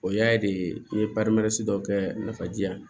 O y'a de ye i ye dɔ kɛ nafa ji yan